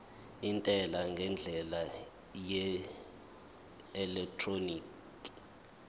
intela ngendlela yeelektroniki